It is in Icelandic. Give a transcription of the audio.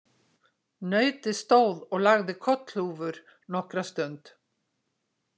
Nautið stóð og lagði kollhúfur nokkra stund.